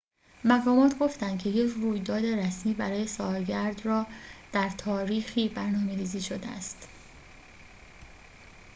مقامات گفتند که یک رویداد رسمی برای سالگرد را در تاریخی برنامه‌ریزی شده است